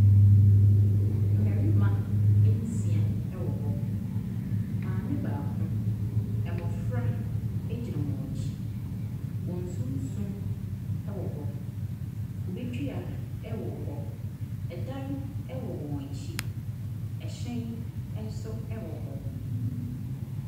Mmarima nsia wɔ hɔ. Maame baako, mmɔfra gyina wɔn akyi. Wɔn sunsum wɔ hɔ. Kube dua wɔ hɔ. Ɛdan wɔ wɔn akyi. Ɛhyɛn nso wɔ hɔ.